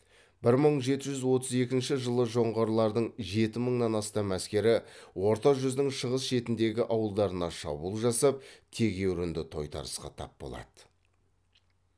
бір мың жеті жүз отыз екінші жылы жоңғарлардың жеті мыңнан астам әскері орта жүздің шығыс шетіндегі ауылдарына шабуыл жасап тегеурінді тойтарысқа тап болады